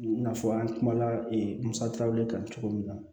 I n'a fɔ an kumana e musakaw le kan cogo min na